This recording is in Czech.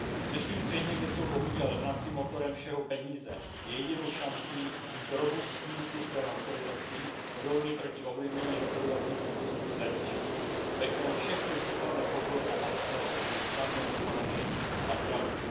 V dnešním světě, kde jsou bohužel hnacím motorem všeho peníze, je jedinou šancí mít robustní systém autorizací odolný proti ovlivnění rozhodovacích procesů zvenčí, ve kterém všechny případné podvody a manipulace budou snadno odhaleny a napraveny.